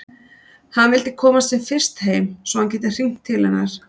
Hann vildi komast sem fyrst heim svo að hann gæti hringt til hennar.